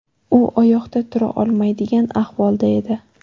U oyoqda tura olmaydigan ahvolda edi.